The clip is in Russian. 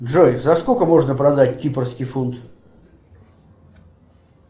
джой за сколько можно продать кипрский фунт